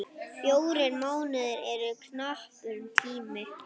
Fjórir mánuðir eru knappur tími.